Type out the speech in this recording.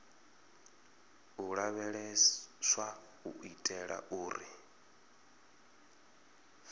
u lavheleswa u itela uri